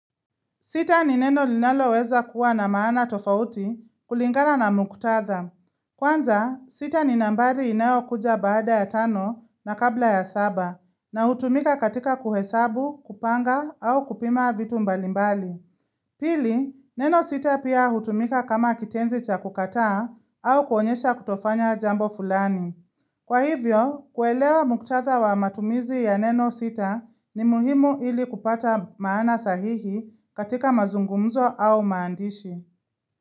Sita ni neno linaloweza kuwa na maana tofauti kulingana na muktadha. Kwanza, sita ni nambari inayo kuja baada ya tano na kabla ya saba na hutumika katika kuhesabu, kupanga au kupima vitu mbalimbali. Pili, neno sita pia hutumika kama kitenzi cha kukataa au kuonyesha kutofanya jambo fulani. Kwa hivyo, kuelewa muktadha wa matumizi ya neno sita ni muhimu ili kupata maana sahihi katika mazungumzo au maandishi.